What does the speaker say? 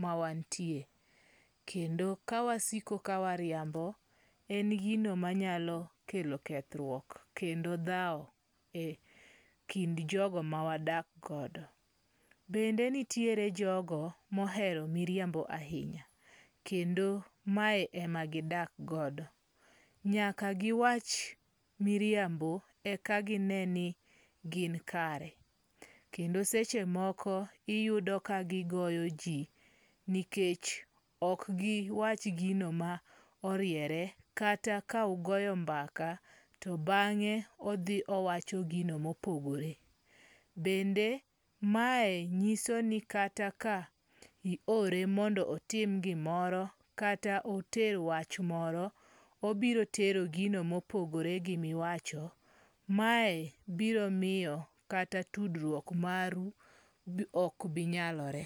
ma wantie. Kendo ka wasiko ka wariambo, en gino manyalo kelo kethruok kendo dhawo e kind jogo ma wadak godo. Bende nitiere jogo mohero miriambo ahinya. Kendo mae e ma gidak godo. Nyaka giwach miriambo e ka gine ni gin kare. Kendo seche moko iyudo ka gigoyo ji nikech ok giwach gino ma oriere kata ka ugoyo mbaka to bang'e odhi owacho gino mopogore. Bende ma e nyiso ni kata ka i ore mondo otim gimoro kata oter wach moro, obiro tero gino mopogore gi miwacho. Mae biro miyo kata tudruok maru ok binyalore.